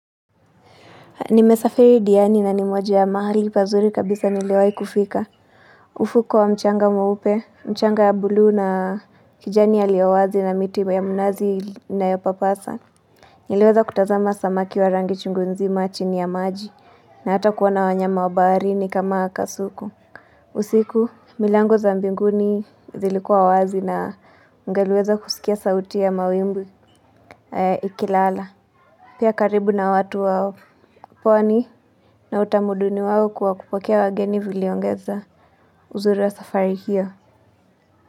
Nimesafiri diani na ni moja ya mahali pazuri kabisa niliwai kufika. Ufuko wa mchanga mweupe, mchanga ya bluu na kijani yaliyo wazi na miti ya mnazi inayopapasa. Niliweza kutazama samaki wa rangi chungu nzima chini ya maji na hata kuona wanyama wa baharini kama kasuku. Usiku, milango za mbinguni zilikuwa wazi na ungeliweza kusikia sauti ya mawimbu ikilala. Pia karibu na watu wao. Pwani na utamuduni wao kuwa kupokea wageni viliongeza. Uzuru wa safari hiyo.